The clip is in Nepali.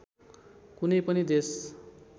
कुनै पनि देश